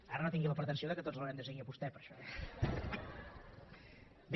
ara no tingui la pretensió que tots l’haurem de seguir a vostè per això eh bé